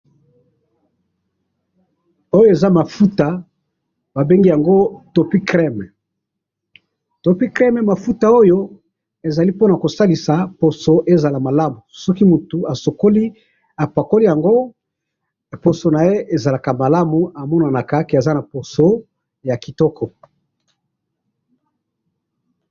Oyo eza mafuta ba bengi yango topicrem, topicrem mafuta ezali pona ko salisa poso ezala malamu, soki mutu asokoli, apakoli yango, poso naye ezalaka malamu, amonanaka que aza na poso ya kitoko.